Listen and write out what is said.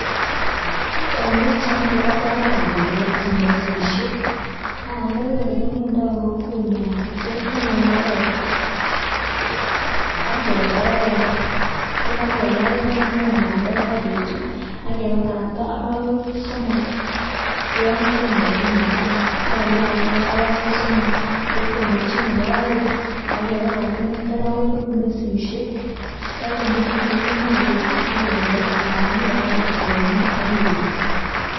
En pichaini kokoboor bandek Che mesisiek, bandek olekimindoo en kokwenyun keteme, imbaaret ak kegereer ye kakegerer kemiin bandek, ak ketuub ak kebakata arawek somok, kesemberchi netai ak kebakaktaa arawek somok kesemberchii nebo peng, akebakaktaa nekit orowek koik mesisiek, ye kokoik mesisiek koimuch ibuut ak ibel anan ibakaktee koyomyoo am ibuut